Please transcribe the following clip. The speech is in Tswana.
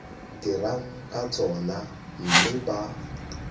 dirang ka tsona mme ba